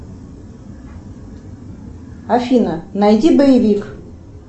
афина найди боевик